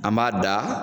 An b'a da